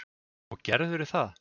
Og gerðirðu það?